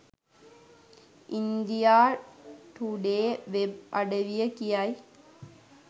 India Today web අඩවිය කියයි